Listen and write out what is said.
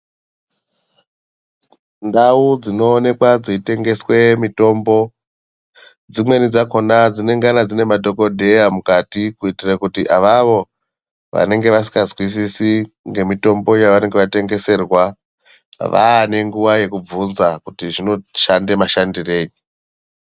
Ndau dzinoonekwa dzeitengeswe mitombo dzimweni dzakhona dzinengana dziine madhokodheya mukati kuitira kuti avavo vanenge vasingazwisisi ngemitombo yavanenge vatengeserwa vaanenguwa yekubvunza kuti zvinoshanda mashandirei